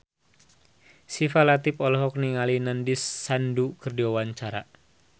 Syifa Latief olohok ningali Nandish Sandhu keur diwawancara